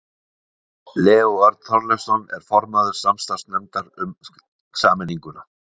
Leó Örn Þorleifsson er formaður samstarfsnefndar um sameininguna.